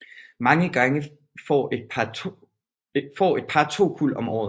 Mange gange får et par to kuld om året